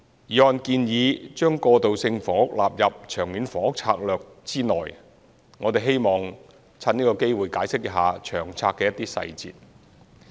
議案建議將過渡性房屋納入《長策》之內，我們希望藉此機會解釋一下《長策》的一些細節。